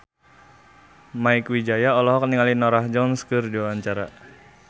Mieke Wijaya olohok ningali Norah Jones keur diwawancara